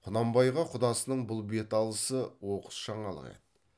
құнанбайға құдасының бұл бет алысы оқыс жаңалық еді